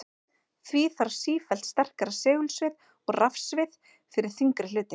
Því þarf sífellt sterkara segulsvið og rafsvið fyrir þyngri hluti.